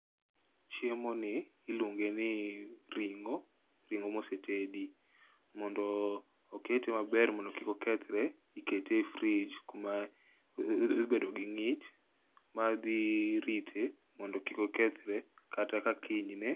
Chiemo ni, iluonge ni ring'o, ring'o mosetedi. Mondo okete maber mondo kik okethre, ikete e fridge kuma dhi bedo gi ng'ich, ma dhi rite mondo kik okethre, kata ka kinyne.